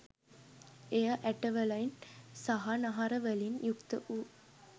එය ඇටවලින් සහ නහරවලින් යුක්ත වූ